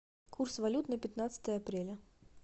курс валют на пятнадцатое апреля